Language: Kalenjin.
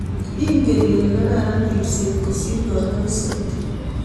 ingen ile kararan ribset kosir kanyoiset?